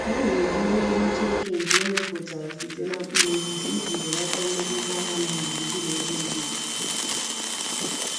Ha na-eji ihe nhicha eke nke emeputara site na mkpuru osisi iji belata mmetụta ha na gburugburu ebe obibi.